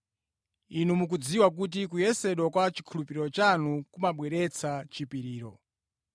Inu mukudziwa kuti kuyesedwa kwa chikhulupiriro chanu kumabweretsa chipiriro.